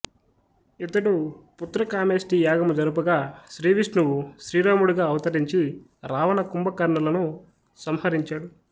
ఈతడు పుత్రకామేష్టి యాగము జరుపగా శ్రీవిష్ణువు శ్రీరాముడుగా అవతరించి రావణ కుంభకర్ణులను సంహరించాడు